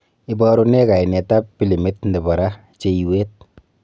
Ibaruu nee kainet ab pilimit nebo raa cheiiwet